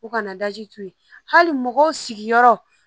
U kana to yen hali mɔgɔw sigiyɔrɔ